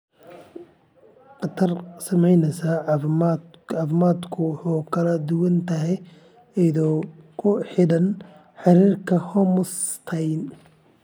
Khatarta saamaynta caafimaadku way kala duwan tahay iyadoo ku xidhan heerarka homocysteine.